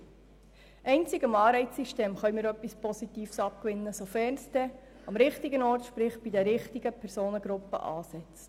Wir können einzig dem Anreizsystem etwas Positives abgewinnen, sofern es am richtigen Ort sprich bei den richtigen Personengruppen ansetzt.